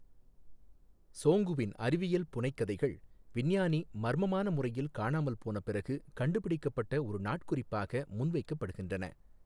சோங்குவின் அறிவியல் புனைகதைக் கதைகள் விஞ்ஞானி மர்மமான முறையில் காணாமல் போன பிறகு கண்டுபிடிக்கப்பட்ட ஒரு நாட்குறிப்பாக முன்வைக்கப்படுகின்றன.